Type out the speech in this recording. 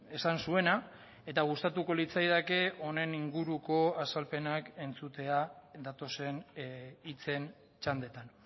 esan zuena eta gustatuko litzaidake honen inguruko azalpenak entzutea datozen hitzen txandetan